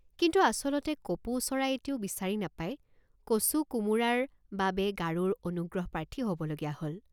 কিন্তু আচলতে কপৌ চৰাই এটিও বিচাৰি নাপাই কচুকোমোৰাৰ বাবে গাৰোৰ অনুগ্ৰহপ্ৰাৰ্থী হবলগীয়া হল।